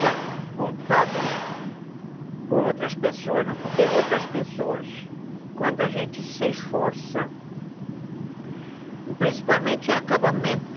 Já voltado por outras pessoas, porque outras pessoas, quando a gente se esforça, principalmente em acabamento,